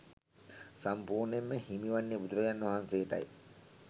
සම්පූර්ණයෙන්ම හිමි වන්නේ බුදුරජාණන් වහන්සේටයි